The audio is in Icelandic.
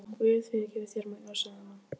Guð fyrirgefi þér, Magnús, sagði amma.